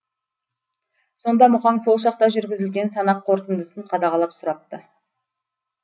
сонда мұқаң сол шақта жүргізілген санақ қорытындысын қадағалап сұрапты